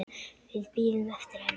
Við bíðum eftir henni